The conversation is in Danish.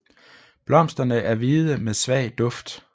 Blomsterne er hvide med svag duft